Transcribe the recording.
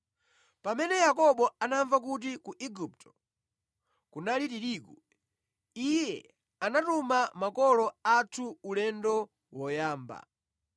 Pamene Yakobo anamva kuti ku Igupto kunali tirigu, iye anatuma makolo athu ulendo woyamba.